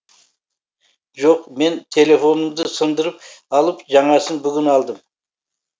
жоқ мен телефонымды сындырып алып жаңасын бүгін алдым